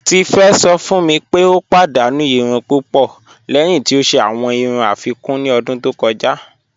Tífé sọ̀ fún mí pé o padànú ìrùn púpọ̀ lẹ́hìn tí o ṣẹ̀ awọn ìrùn afíkún ní ọ̀dún tó kọja.